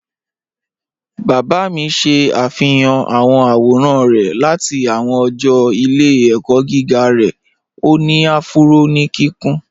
Bàbá mí ṣẹ̀ afihàn awọn awòràn rẹ̀ láti awọn ọ̀jọ́ ìlẹ̀-ẹ̀kọ̀ giga rẹ̀, o ni afúró ni kíkùn.